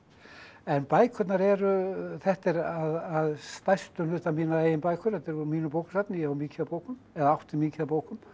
en bækurnar eru þetta er að stærstum hluta mínar eigin bækur þetta er úr mínu bókasafni ég á mikið af bókum eða átti mikið af bókum